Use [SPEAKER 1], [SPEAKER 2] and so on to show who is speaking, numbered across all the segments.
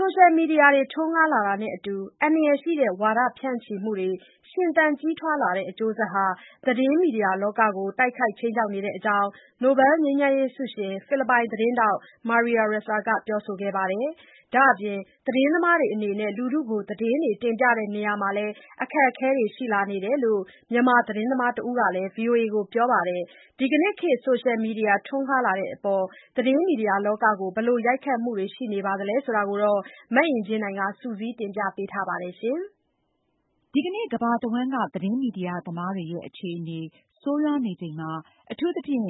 [SPEAKER 1] ဆိုရှယ်မီဒီယာထွန်းကားလာတာနဲ့အတူ အန္တရာယ်ရှိတဲ့ ဝါဒဖြန့်ချိမှုတွေ ရှင်သန်ကြီးထွားလာတဲ့ အကျိူးဆက်ဟာ သတင်းမီဒီယာလောကကို တိုက်ခိုက်ခြိမ်းခြောက်နေကြောင်း နိုဘယ်လ် ငြိမ်းချမ်းရေးဆုရှင် ဖိလစ်ပိုင်သတင်းထောက် Maria Ressa ကပြောဆိုခဲ့ပါတယ်။ ဒါ့အပြင် သတင်းသမားတွေအနေနဲ့ လူထုကို သတင်းတွေတင်ပြတဲ့နေရာမှာ အခက်အခဲတွေရှိလာနေတယ်လို့ မြန်မာသတင်းသမားတဦးကလည်း ဗွီအိုအေကို ပြောပါတယ်။ ဒီကနေ့ခေတ် ဆိုရှယ် မီဒီယာထွန်းကားလာတဲ့အပေါ် သတင်းမီဒီယာလောကကို ဘယ်လို ရိုက်ခတ်မှုတွေရှိနေသလဲဆိုတာကို မအင်ကြင်းနိုင်က စုစည်းတင်ပြထားပါတယ်။ ဒီကနေ့ ကမ္ဘာတဝှ
[SPEAKER 2] မ်းက သတင်းမီဒီယာသမားတွေရဲ့ အခြေအနေဆိုးရွားနေချိန်မှာ အထူးသဖြင့်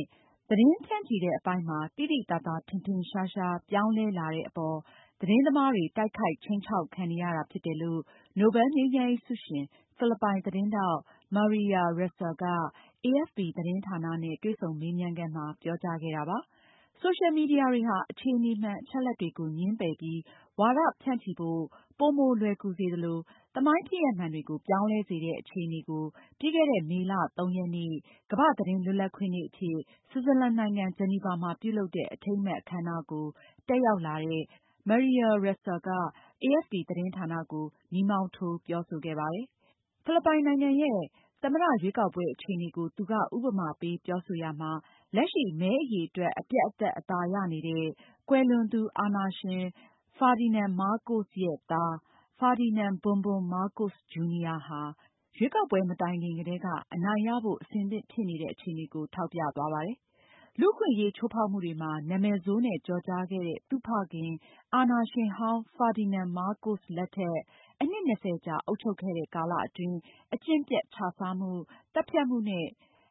[SPEAKER 2] သတင်းဖြန့်ချိတဲ့အပိုင်းမှာ သိသိသာသာထင်ထင်ရှားရှားပြောင်းလဲလာတဲ့အပေါ်မှာ သတင်းသမားတွေ တိုက်ခိုက်ခြိမ်းခြောက်ခံနေရတာဖြစ်တယ်လို့ နိုဘယ်လ် ငြိမ်းချမ်းရေးဆုရှင် ဖိလစ်ပိုင်သတင်းထောက် Maria Ressa က AFP သတင်းဌာနနဲ့ တွေ့ဆုံမေးမြန်းရာမှာ ပြောကြားခဲ့တာပါ။ ဆိုရှယ်မီဒီယာတွေဟာ အခြေအနေမှန်၊ အချက်အလက်တွေကို ငြင်းပယ်ပြီး ဝါဒဖြန့်ချိဖို့ ပိုမိုလွယ်ကူစေသလို သမိုင်းဖြစ်ရပ်မှန်တွေကို ပြောင်းလဲစေတဲ့အခြေအနေကို ပြီးခဲ့တဲ့ မေလ ရက်နေ့ ကမ္ဘာ့သတင်းလွတ်လပ်ခွင့်နေ့အဖြစ် ဆွစ်ဇာလန်နိုင်ငံ ဂျီနီဗာမှာ ပြုလုပ်တဲ့ အထိမ်းအမှတ်အခမ်းအနားကို တက်ရောက်လာတဲ့ Maria Ressa က AFP သတင်းဌာနကို မီးမောင်းထိုးပြောဆိုခဲ့ပါတယ်။ ဖိလစ်ပိုင်နိုင်ငံရဲ့သမ္မတရွေးကောက်ပွဲအခြေအနေကို သူက ဥပမာပေး ပြောဆိုရာမှာ- လက်ရှိ မဲအရေအတွက် အပြတ်အသတ်အသာရနေတဲ့ ကွယ်လွန်သူအာဏာရှင် ဖာဒီနန်မားကို့စ် သား ဖာဒီနန်ဘွန်ဘွန် မားကို့စ် ဂျူနီယာဟာ ရွေးကောက်ပွဲမတိုင်ခင်ကတည်းက အနိုင်ရဖို့ အဆင်သင့် ဖြစ်နေတဲ့အခြေအနေကို ထောက်ပြသွားပါတယ်။ လူ့အခွင့်အရေးချိုးဖောက်မှုတွေမှာ နာမည်ဆိုးနဲ့ ကျော်ကြားခဲ့တဲ့ သူ့ဖခင် အာဏာရှင်ဟောင်း ဖာဒီနန်မားကို့စ်လက်ထက် အနှစ် ၂၀ ကြာအုပ်ချုပ်ခဲ့တဲ့ကာလအတွင်း အကျင့်ပျက်ခြစားမှု၊ သတ်ဖြတ်မှုနဲ့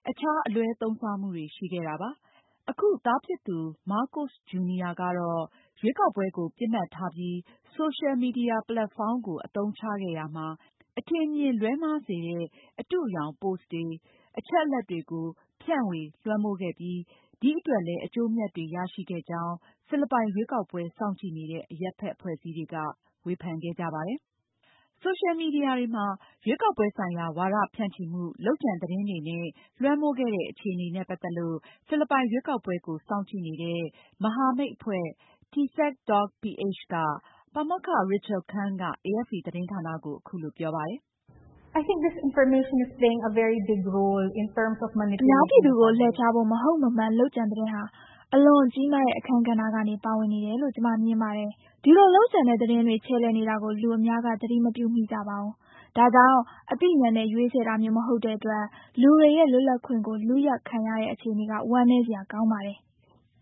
[SPEAKER 2] အခြားအလွဲသုံးစားမှုတွေ ရှိခဲ့ပါတယ်။ အခု သားဖြစ်သူ မားကိုစ်ဂျူနီယာကတော့ ရွေးကောက်ပွဲကိုပစ်မှတ်ထားပြီး ဆိုရှယ်မီဒီယာပလက်ဖောင်းကို အသုံးချခဲ့ရာမှာ အတုအယောင်၊ အထင်အမြင်လွဲမှားစေတဲ့ ပို့စ်တွေ၊ အချက်အလက်တွေကို ဖြန့်ဝေလွှမ်းမိုးခဲ့ပြီး ဒီအတွက်လည်း အကျိုးအမြတ်တွေရရှိခဲ့ကြောင်း ဖိလစ်ပိုင်ရွေးကောက်ပွဲစောင့်ကြည့်နေတဲ့ အရပ်ဖက်အဖွဲ့အစည်းတွေက ဝေဖန်ခဲ့ကြတာပါ။ ဆိုရှယ်မီဒီယာတွေမှာ ရွေးကောက်ပွဲဆိုင်ရာ ဝါဒဖြန့်ချိမှု၊ လုပ်ကြံသတင်းတွေနဲ့ လွှမ်းမိုးခဲ့တဲ့ အခြေအနေနဲ့ပတ်သက်လို့ ဖိလစ်ပိုင်ရွေးကောက်ပွဲကို စောင့်ကြည့်နေတဲ့ မဟာမိတ်အဖွဲ့ Tsek.ph က ပါမောက္ခ Rachel Khan က AFP သတင်းဌာနကို အခုလိုပြောပါတယ်။ "အ
[SPEAKER 1] များပြည်သူကို လှည့်ဖြားဖို့ မဟုတ်မမှန်လုပ်ကြံသတင်းဟာ အလွန်ကြီးမားတဲ့ အခန်းကဏ္ဍကနေ ပါဝင်နေတယ်လို့ ကျမမြင်ပါတယ်။ ဒီလို လုပ်ကြံတဲ့သတင်းတွေ ခြယ်လှယ်နေတာကို လူအများက သတိမပြုမိကြပါဘူး။ ဒါကြောင့် အသိဉာဏ်နဲ့ ရွေးချယ်တာမျိုး မဟုတ်တဲ့အတွက် လူတွေရဲ့လွတ်လပ်ခွင့်ကို လုယက်ခံရတဲ့အခြေအနေက ဝမ်းနည်းစရာကောင်းပါတယ်။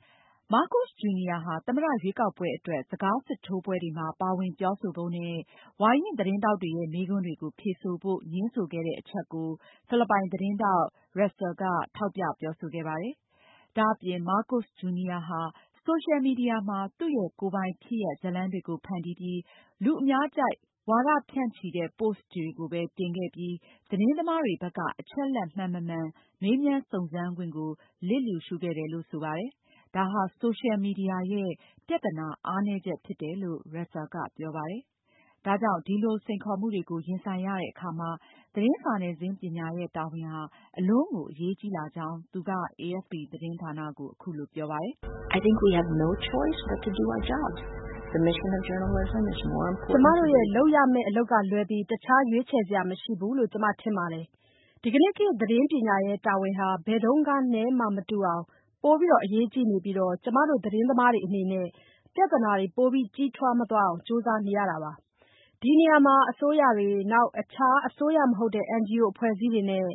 [SPEAKER 2] " မားကို့စ် ဂျူနီယာဟာ သမ္မတရွေးကောက်ပွဲအတွက် စကားစစ်ထိုးပွဲတွေမှာပါဝင် ပြောဆိုဖို့နဲ့ ဝါရင့်သတင်းထောက်တွေရဲ့ မေးခွန်းတွေကို ဖြေဆိုဖို့ ငြင်းဆိုခဲ့တဲ့အချက်ကို ဖိလစ်ပိုင်သတင်းထောက် Ressa က ထောက်ပြပြောဆိုခဲ့ပါတယ်။ ဒါ့အပြင် မားကိုစ့်ဂျူနီယာဟာ ဆိုရှယ်မီဒီယာမှာ သူ့ရဲ့ကိုယ်ပိုင်ဖြစ်ရပ်ဇာတ်လမ်းတွေကို ဖန်တီးပြီး လူအများကြိုက် ဝါဒဖြန့်ချိတဲ့ ပို့စ်တွေကိုပဲ ဖြန့်ချိခဲ့ပြီး သတင်းသမားတွေဘက်က အချက်အလက်မှန်မမှန် မေးမြန်းစုံစမ်းခွင့်ကို လျစ်လျူရှုထားခဲ့တယ်လို့လည်းဆိုပါတယ်။ ဒါဟာ ဆိုရှယ်မီဒီယာရဲ့ ပြသနာအားနည်းချက်ဖြစ်တယ်လို့ Ressa ကပြောပါတယ်။ ဒါကြောင့် ဒီလိုစိန်ခေါ်မှုတွေကိုရင်ဆိုင်ရတဲ့အခါမှာ သတင်းစာနယ်ဇင်းပညာရဲ့ တာဝန်ဟာ အလွန်ကို အရေးကြီးလာကြောင်း သူက AFP သတင်းဌာနကို အခုလိုပြောကြားခဲ့ပါတယ်။ "ကျမတို့ရဲ့လု
[SPEAKER 1] ပ်ရမယ့် အလုပ်ကလွဲပြီး အခြားရွေးချယ်စရာမရှိဘူးလို့ ကျမထင်ပါတယ်။ ဒီကနေ့ခေတ် သတင်းပညာရဲ့တာဝန်ဟာ ဘယ်တုန်းကမှမတူအောင် ပိုပြီးအရေးကြီးနေပြီးတော့ ကျမတို့ သတင်းသမားတွေအနေနဲ့ ပြဿနာတွေ ပိုပြီးကြီးထွားမသွားအောင်ကြိုးစားနေတာပါ။ ဒီနေရာမှာ အစိုးရတွေ၊ အခြား အစိုးရမဟုတ်တဲ့ NGO အဖွဲ့အစည်းတွေနဲ့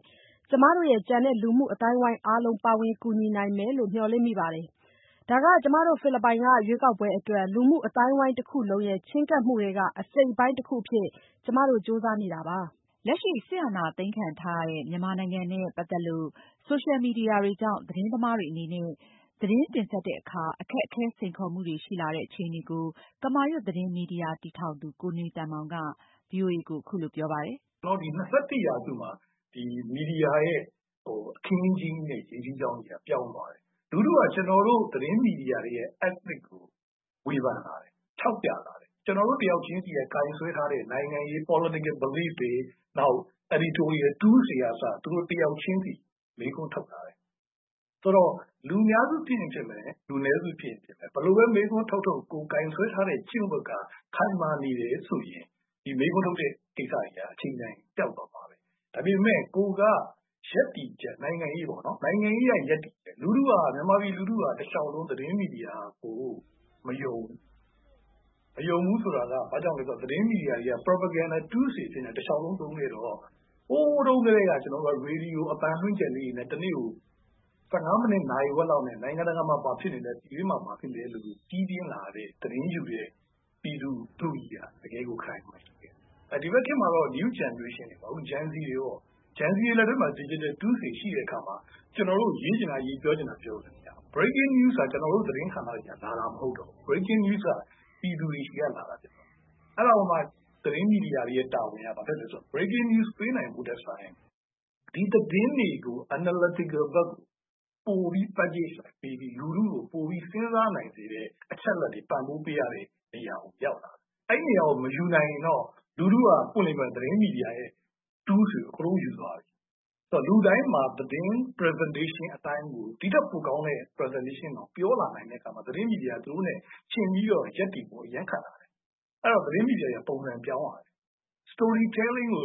[SPEAKER 1] ကျမတို့ရဲ့ ကျန်တဲ့ လူမှုအသိုင်းအားလုံး ပါဝင်ကူညီနိုင်မယ်လို့ မျှော်လင့်မိပါတယ်။ ဒါက ကျမတို့ ဖိလစ်ပိုင်က ရွေးကောက်ပွဲအတွက် လူမှုအသိုင်းအဝိုင်းတခုလုံးရဲ့ ချဉ်းကပ်မှုထဲက အစိတ်အပိုင်းအတခုအဖြစ် ကျမတို့ ကြိုးစားနေတာပါ။" လက်ရှိ စစ်အာဏာ
[SPEAKER 2] သိမ်းခံထားရတဲ့ မြန်မာနိုင်ငံနဲ့ ပတ်သက်လို့ ဆိုရှယ်မီဒီယာတွေကြောင့် သတင်းသမားတွေအနေနဲ့ သတင်းတင်ဆက်တဲ့အခါ အခက်အခဲစိန်ခေါ်မှုတွေရှိလာတဲ့ အခြေအနေကို ကမာရွတ်သတင်းမီဒီယာကိုတည်ထောင်သူ ကိုနေသန်မောင်က အခုလို ဗွီအိုအေကိုပြောပါတယ်
[SPEAKER 3] ။ “၂၁ ရာစုမှာ မီဒီယာရဲ့အခင်းအကျင်းကြီးနဲ့ ရေစီးကြောင်းကြီးက ပြောင်းသွားတယ်။ လူထုက ကျနော်တို့သတင်းမီဒီယာတွေရဲ့ ethic ကို ဝေဖန်လာတယ်။ ထောက်ပြလာတယ်။ ကျနော်တို့တယောက်ချင်းစီကိုင်စွဲထားတဲ့ နိုင်ငံရေး political belief တွေ၊ နောက် editorial tools တွေကအစ သူတို့တယောက်ချင်းစီ မေးခွန်းထုတ်လာတယ်။...ဆိုတော့ လူများစု ဖြစ်ရင်ဖြစ်မယ်။ လူနည်းစုဖြစ်ရင်ဖြစ်မယ်။ ဘယ်လိုပဲမေးခွန်းထုတ်ထုတ် ကိုယ်ကိုင်စွဲထားတဲ့ကျင့်ဝတ်က ခိုင်မာနေတယ်ဆိုရင် ဒီမေးခွန်းထုတ်တဲ့ ကိစ္စတွေက အချိန်တန်ရင် ပျောက်သွားမှာပဲ။ ဒါပေမယ့် ကိုယ်ကရပ်တည်ချက်၊ နိုင်ငံရေးပေါ့နော်... နိုင်ငံရေးအရ ရပ်တည်ချက်...လူထုက တလျှောက်လုံး သတင်းမီဒီယာကို မယုံဘူး။ မယုံဘူးဆိုတာက ဘာကြောင့်လဲဆိုတော့ သတင်းမီဒီယာတွေက propaganda tools တွေအဖြစ်နဲ့ တလျှောက်လုံးသုံးခဲ့တော့ ဟိုးတုန်းကတည်းက ကျနော်တို့က ရေဒီယိုအသံလွှင့်ချက်လေးတွေနဲ့ တနေ့ကို ဆယ့်ငါးမိနစ်၊ နာရီဝက်လောက်နဲ့ နိုင်ငံတကာမှာ ဘာဖြစ်နေလဲ၊ ပြည်တွင်းမှာဘာဖြစ်လဲတွေကို ကြီးပြင်းလာရတဲ့၊ သတင်းယူတဲ့ ပြည်သူလူထုကြီးက တကယ်ကို ခိုင်ခိုင်မာမာရှိတယ်။ ဒီဘက်ခေတ်မှာတော့ New Generation တွေပေါ့။ Gen-Z တွေပေါ့ Gen-Z တွေလက်ထဲမှာ digital tools တွေရှိတဲ့အခါမှာ ကျနော်တို့ ရေးချင်တာရေး၊ ပြောချင်တာပြောလို့ရသွားတယ်။ beaking news တွေဟာ ကျနော်တို့ သတင်းဌာနတွေက လာတာမဟုတ်တော့ဘူး။ beaking news တွေက ပြည်သူတွေဆီက လာတာဖြစ်သွားတယ်။ အဲဒီတော့မှ သတင်းမီဒီယာတွေရဲ့တာဝန်က ဘာဖြစ်သွားသလဲဆိုတော့ beaking news ပေးနိုင်ဖို့ထက်စာရင် ဒီသတင်းတွေကို analytical ပိုပြီး packgae လိုက်ပေးပြီး လူထုကို ပိုပြီး စဉ်းစားနိုင်စေတဲ့ အချက်အလက်တွေ ပံ့ပိုးပေးရတဲ့ နေရာကိုရောက်လာတယ်။ အဲဒီနေရာကို မယူနိုင်ရင်တော့ လူထုက ပွင့်ပွင့်လင်းလင်းပြောရရင် သတင်းမီဒီယာရဲ့ tools တွေကို အကုန်လုံးယူသွားတယ်။....အဲဒီတော့ လူတိုင်းမှာ သတင်း presentation အတိုင်းကို ဒိထက်ပိုကောင်းတဲ့ presentation ကိုတောင် ပြောလာနိုင်တဲ့အခါမှာ သတင်းမီဒီယာက သူတို့နဲ့ယှဉ်ပြီးရပ်တည်ဖို့ အရမ်းခက်လာတယ်။ အဲဒီတော့ သတင်းမီဒီယာတွေက ပုံစံပြောင်းလာရတယ်။ လူထုကြိုက်မယ့် story telling ကို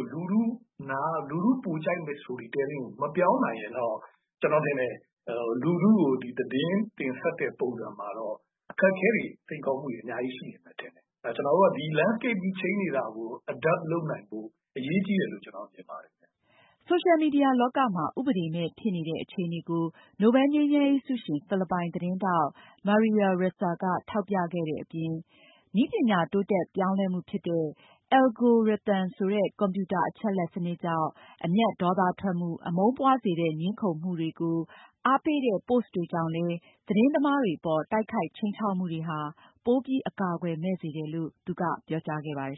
[SPEAKER 3] မပြောင်းနိုင်ရင်တော့ ကျနော်ထင်တယ်၊ လူူထုကို သတင်းတင်ဆက်တဲ့ပုံစံမှာတော့ အခက်အခဲတွေ၊ စိန်ခေါ်မှုတွေ အများကြီးရှိလာမယ်ထင်တယ်။ ကျနော်တို့က ဒီ landscaping change နေတာကို adapt လုပ်နိုင်ဖို့ အရေးကြီးတယ်လို့ မြင်ပါတယ်။”
[SPEAKER 2] ဆိုရှယ်မီဒီယာလောကမှာ ဥပဒေမဲ့ဖြစ်နေတဲ့ အခြေအနေကို နိုဘယ်လ်ငြိမ်းချမ်းရေးဆုရှင် ဖိလစ်ပိုင်သတင်းထောက် Maria Ressa ကထောက်ပြခဲ့တဲ့အပြင် နည်းပညာတိုးတက်ပြောင်းလဲမှုဖြစ်တဲ့ အယ်လဂိုရီသမ် ဆိုတဲ့ ကွန်ပြူတာအချက်အလက်စနစ်ကြောင့် အမျက်ဒေါသထွက်မှု၊ အမုန်းပွားစေတဲ့ ငြင်းခုံမှုတွေကို အားပေးတဲ့ ပို့စ်တွေကြောင့်လည်း သတင်းသမားတွေအပေါ်တိုက်ခိုက် ခြိမ်းခြောက်မှုတွေကို ပိုပြီး အကာအကွယ်မဲ့စေတယ်လို့လည်း သူကပြောကြားခဲ့ပါတယ်